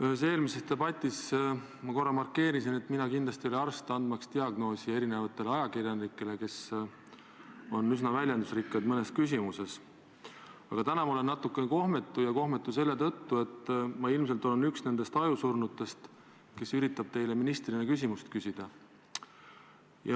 Ühes eelmises debatis ma korra markeerisin, et mina kindlasti ei ole arst andmaks diagnoosi ajakirjanikele, kes on mõnes küsimuses üsna väljendusrikkad, aga täna ma olen natukene kohmetu selle tõttu, et ma olen ise ilmselt üks nendest ajusurnutest, kes üritab teile kui ministrile küsimust esitada.